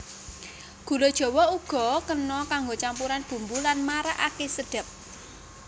Gula jawa uga kena kanggo campuran bumbu lan marakaké sedhep